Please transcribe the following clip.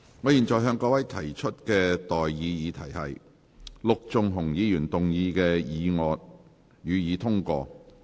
我現在向各位提出的待議議題是：陸頌雄議員動議的議案，予以通過。